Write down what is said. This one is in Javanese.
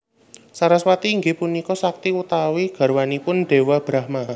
Saraswati inggih punika sakti utawi garwanipun Déwa Brahma